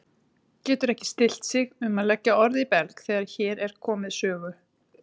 Getur ekki stillt sig um að leggja orð í belg þegar hér er komið sögu.